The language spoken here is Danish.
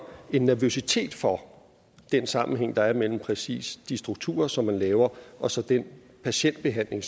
en nervøsitet for den sammenhæng der er mellem præcis de strukturer som man laver og så den patientbehandling